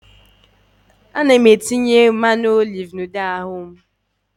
Ana m etinye mmanụ oliv na ude ahụ m